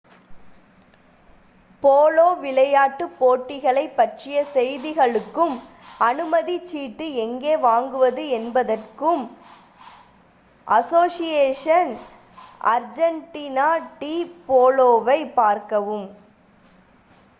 polo விளையாட்டுப் போட்டிகளைப் பற்றிய செய்திகளுக்கும் அனுமதிச் சீட்டு எங்கே வாங்குவது என்பதற்கும் அசோசியேஷன் அர்ஜென்டினா டி போலோவை பார்க்கவும்